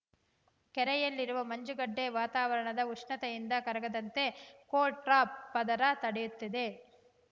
ಕೆರೆಯಲ್ಲಿರುವ ಮಂಜುಗಡ್ಡೆ ವಾತಾವರಣದ ಉಷ್ಣತೆಯಿಂದ ಕರಗದಂತೆ ಕೋಲ್ಡ್‌ ಟ್ರಾಪ್‌ ಪದರ ತಡೆಯುತ್ತದೆ